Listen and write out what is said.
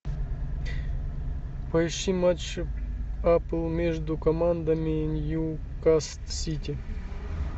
поищи матч апл между командами ньюкасл сити